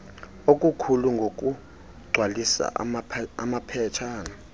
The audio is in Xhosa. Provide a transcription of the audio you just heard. okukhulu ngokugcwalisa amaphetshana